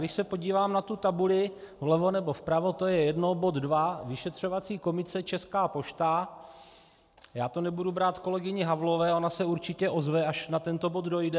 Když se podívám na tu tabuli vlevo nebo vpravo, to je jedno, bod 2, vyšetřovací komise Česká pošta, já to nebudu brát kolegyni Havlové, ona se určitě ozve, až na tento bod dojde.